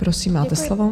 Prosím, máte slovo.